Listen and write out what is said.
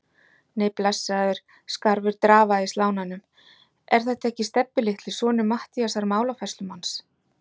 Nei, blessaður, skarfur drafaði í slánanum, er þetta ekki Stebbi litli, sonur Matthíasar málafærslumanns?